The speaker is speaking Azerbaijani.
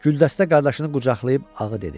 Güldəstə qardaşını qucaqlayıb ağı dedi.